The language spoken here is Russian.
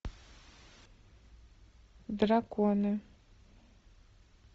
драконы